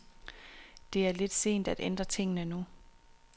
Det er lidt sent at ændre tingene nu.